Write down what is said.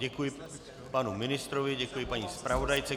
Děkuji panu ministrovi, děkuji paní zpravodajce.